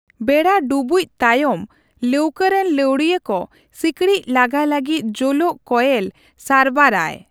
ᱵᱮᱲᱟ ᱰᱩᱵᱩᱪ ᱛᱟᱭᱚᱢ, ᱞᱟᱹᱣᱠᱟᱹ ᱨᱮᱱ ᱞᱟᱹᱣᱲᱤᱭᱟᱹ ᱠᱚ ᱥᱤᱠᱲᱤᱪ ᱞᱟᱜᱟ ᱞᱟᱹᱜᱤᱫ ᱡᱳᱞᱳᱜ ᱠᱚᱭᱮᱞ ᱥᱟᱨᱵᱟᱨ ᱟᱭ ᱾